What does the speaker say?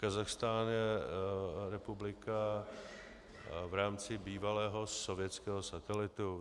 Kazachstán je republika v rámci bývalého sovětského satelitu.